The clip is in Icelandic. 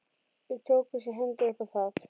Við tókumst í hendur upp á það.